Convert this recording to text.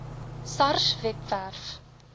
sars webwerf